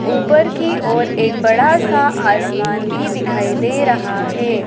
ऊपर की ओर एक बड़ा सा आसमान भी दिखाई दे रहा है।